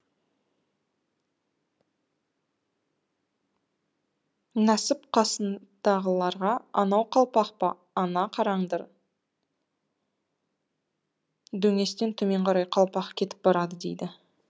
нәсіп қасындағыларға анау қалпақ па ана қараңдар дөңестен төмен қарай қалпақ кетіп барады дейді